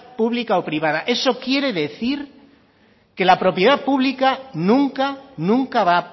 pública o privada eso quiere decir que la propiedad pública nunca nunca va